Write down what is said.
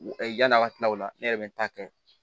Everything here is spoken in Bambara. Yann'a ka tila o la ne yɛrɛ bɛ n ta kɛ